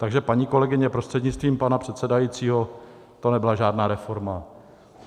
Takže paní kolegyně, prostřednictvím pana předsedajícího, to nebyla žádná reforma.